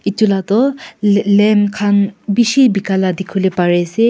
etu lah toh la lamb khan bishi bika lah dikhi bole pare ase.